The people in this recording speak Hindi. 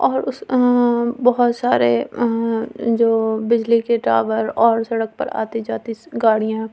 और उस आं बहुत सारे आं जो बिजली के टावर और सड़क पर आती-जाती सो गाडि़यां--